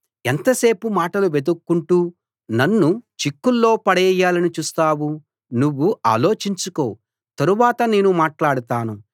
ఎంతసేపు మాటలు వెదుక్కుంటూ నన్ను చిక్కుల్లో పడేయాలని చూస్తావు నువ్వు ఆలోచించుకో తరువాత నేను మాట్లాడతాను